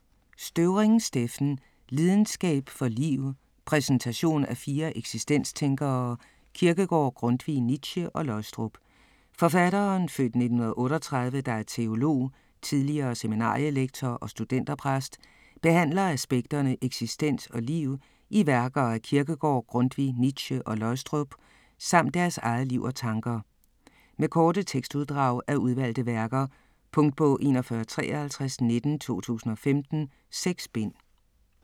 Støvring, Steffen: Lidenskab for liv: præsentation af fire eksistenstænkere - Kierkegaard, Grundtvig, Nietzsche, Løgstrup Forfatteren (f. 1938) der er teolog, tidligere seminarielektor og studenterpræst, behandler aspekterne eksistens og liv i værker af Kierkegaard, Grundtvig, Nietzsche og Løgstrup, samt deres eget liv og tanker. Med korte tekstuddrag af udvalgte værker. Punktbog 415319 2015. 6 bind.